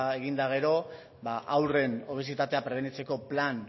egin eta gero haurren obesitatea prebenitzeko